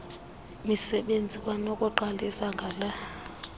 misebenzi kwanokuqalisa ngala